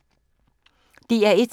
DR1